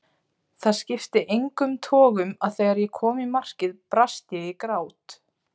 Það skipti engum togum að þegar ég kom í markið brast ég í grát.